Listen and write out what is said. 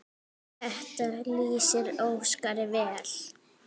Þetta lýsir Óskari vel.